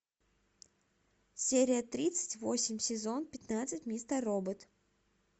серия тридцать восемь сезон пятнадцать мистер робот